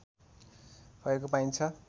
भएको पाइन्छ